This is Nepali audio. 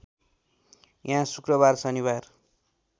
यहाँ शुक्रबार शनिबार